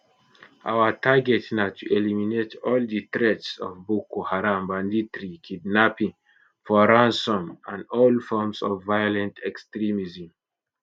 our target na to eliminate all di threats of boko haram banditry kidnapping for ransom and all forms of violent extremism